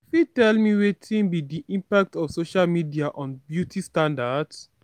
you fit tell me wetin be di impact of social media on beauty standards?